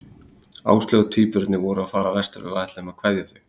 Áslaug og tvíburarnir voru að fara vestur og við ætluðum að kveðja þau.